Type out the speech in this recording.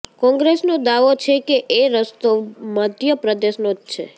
કોંગ્રેસનો દાવો છે કે એ રસ્તો મધ્ય પ્રદેશનો જ છે